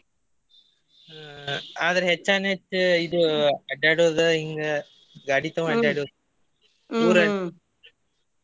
ಆದ್ರ ಹೆಚ್ಚಾನೆಚ್ ಇದ್ ಅಡ್ಯಾಡೋದ್ ಹಿಂಗ ಗಾಡಿ ತಗೊಂಡ್ ಅಡ್ಯಾಡೋದ್ .